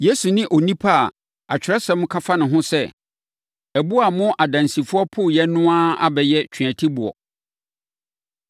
Yesu ne onipa a Atwerɛsɛm ka fa ne ho sɛ, “ ‘Ɛboɔ a mo adansifoɔ poeɛ no a abɛyɛ tweatiboɔ.’